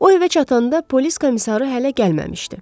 O evə çatanda polis komissarı hələ gəlməmişdi.